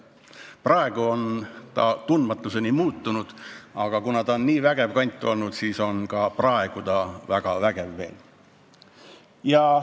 Praegu on seal kõik tundmatuseni muutunud, aga kuna ta on olnud nii vägev kant, siis on ta praegugi veel väga vägev.